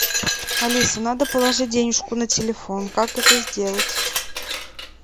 алиса надо положить денежку на телефон как это сделать